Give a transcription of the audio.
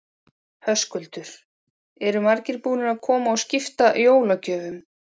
Höskuldur: Eru margir búnir að koma og skipta jólagjöfum?